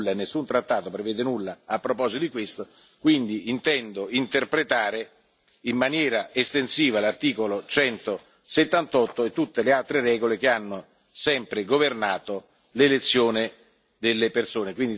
Nessun trattato prevede nulla a proposito di questo e quindi intendo interpretare in maniera estensiva l'articolo 178 e tutte le altre regole che hanno sempre governato l'elezione delle persone.